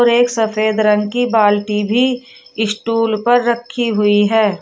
और एक सफेद रंग की बाल्टी भी स्टूल पर रखी हुई है।